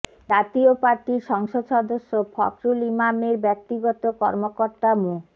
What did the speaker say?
জাতীয় পার্টির সংসদ সদস্য ফকরুল ইমামের ব্যক্তিগত কর্মকর্তা মো